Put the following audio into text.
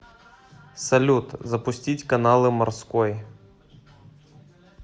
салют запустить каналы морской